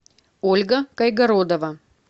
ольга кайгородова